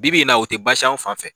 Bi bi in na o tɛ basi y'an fan fɛ